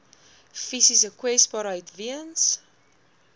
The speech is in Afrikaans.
fisiese kwesbaarheid weens